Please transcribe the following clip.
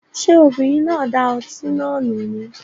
Ṣé obìnrin náà da ọtí náà nù ni?